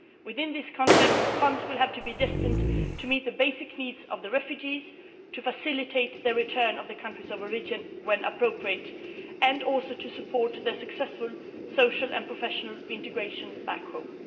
In this context, funds will have to be earmarked to meet the basic needs of the refugees, to facilitate their return to their countries of origin, when appropriate, and to support their successful social and professional reintegration back